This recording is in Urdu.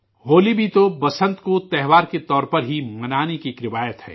ہولی بھی تو بسنت کو اتسو کے طور پر ہی منانے کی ایک روایت ہے